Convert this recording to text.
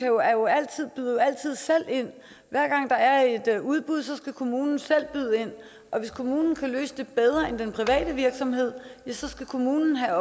jo altid selv ind hver gang der er et udbud skal kommunen selv byde ind og hvis kommunen kan løse det bedre end den private virksomhed ja så skal kommunen have